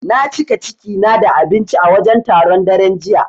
Na cika ciki na da abinci a wajen taron, daren jiya.